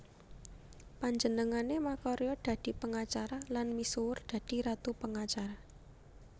Panjenengané makarya dadi pengacara lan misuwur dadi Ratu Pengacara